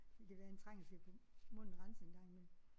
Det kan være han trænger til at få munden renset en gang imellem